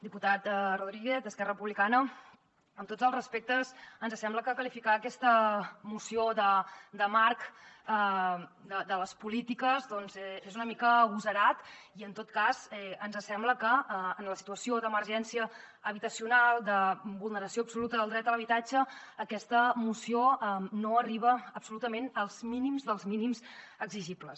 diputat rodríguez d’esquerra republicana amb tots els respectes ens sembla que qualificar aquesta moció de marc de les polítiques doncs és una mica agosarat i en tot cas ens sembla que en la situació d’emergència habitacional de vulneració absoluta del dret a l’habitatge aquesta moció no arriba absolutament als mínims dels mínims exigibles